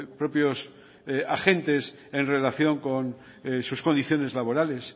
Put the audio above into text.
propios agentes en relación con sus condiciones laborales